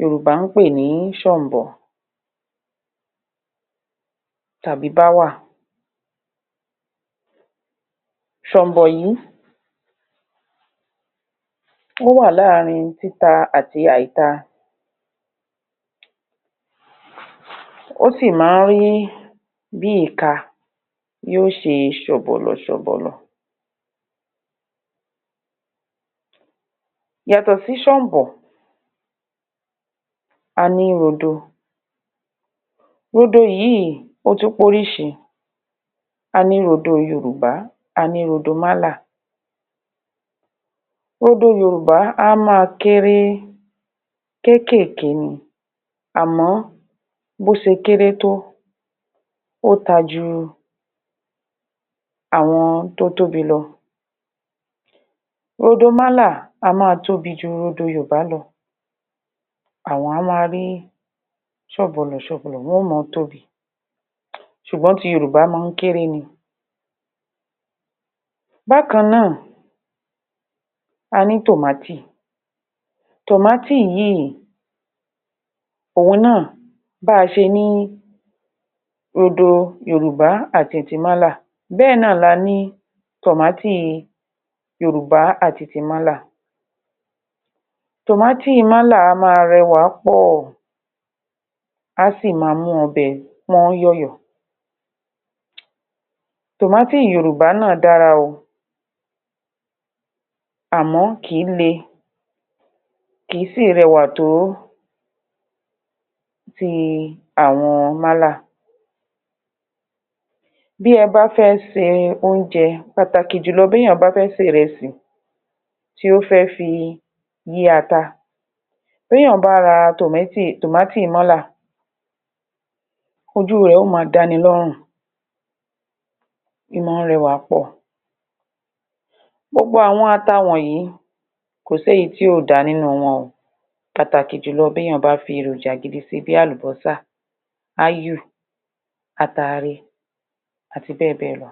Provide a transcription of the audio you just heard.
Yòrùbá ń pè ní s̩ò̩m̀bò̩ tàbí báwà s̩ò̩m̀bò̩ yí ó wà láarín títa àti àìta ó sì máa ń rí bí ìka yí ó ṣe s̩ò̩bò̩lò̩ s̩ò̩bò̩lò̩ Yàtò̩ sí s̩ò̩m̀bò̩, a ní rodo rodo yìí ó tún p’órís̩i A ní rodo Yorùbá A ní rodo Málà. Rodo Yorùbá a máa kéré kékèké ni àmó̩, bó s̩e kéré tó, ó ta ju àwo̩n tó tóbi lo̩. Rodo Málà a máa tóbi ju rodo Yorùbá lo̩. Àwo̩n á máa rí s̩ò̩bò̩lò̩ s̩ò̩bò̩lò̩ wo̩n ó mó̩o̩ tóbi. S̩ùgbó̩n ti Yorùbá máa ń kéré ni Bákan náà, a ní tòmátì tòmátì yìí òun náà bá a s̩e ní rodo Yorùbá àti ti Mála bé̩è̩ náà la ni tòmátì Yorùbá àti ti Mála tòmátì Málà a máa re̩wàá pò̩ á sì máa mú o̩bè̩ pó̩n yó̩yò̩. Tòmátì Yorùbá náà dára o àmó̩, kì í le kì í sì re̩wà tó bíi àwo̩n Málà. Bí e bá fé se oúnje̩, pàtàkì jùlo̩ béyàn bá fe̩ sé resì tí ó fé̩ fi yí ata bí èèyàn bá ra tòmátì, tòmátì Málà ojú rè yóò máa dániló̩rùn í mó̩o̩ re̩wà pò̩. Gbogbo àwo̩n ata woǹyí, kò s’éyí tí ò dáa nínú wo̩n o pàtàkì jùlo̩ tí èèyàn bá fi èròjà gidi si bí àlùbó̩sà áyù ataare àti bé̩è̩ bé̩è̩ lo̩.